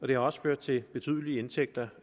det har også ført til betydelige indtægter